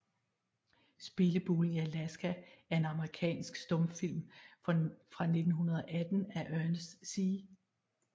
Spillebulen i Alaska er en amerikansk stumfilm fra 1918 af Ernest C